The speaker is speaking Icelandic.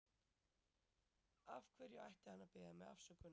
Af hverju ætti hann að biðja mig afsökunar?